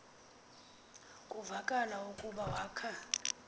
kuvakala ukuba wakha